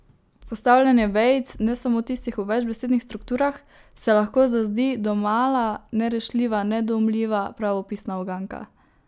Postavljanje vejic, ne samo tistih v večbesednih strukturah, se lahko zazdi domala nerešljiva, nedoumljiva pravopisna uganka.